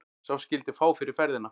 Sá skyldi fá fyrir ferðina.